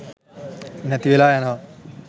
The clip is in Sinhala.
නැතිවෙලා යනවා